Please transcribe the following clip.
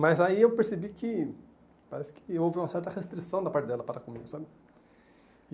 Mas aí eu percebi que parece que houve uma certa restrição da parte dela para comigo, sabe?